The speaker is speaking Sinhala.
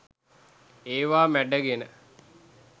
ඒවා මැඩගෙන